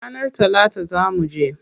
Ranar talata zaa muje.